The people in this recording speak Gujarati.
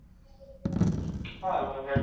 હારું હારું હેડ.